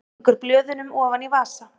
Stingur blöðunum ofan í vasa.